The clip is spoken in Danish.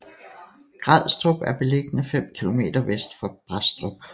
Grædstrup er beliggende fem kilometer vest for Brædstrup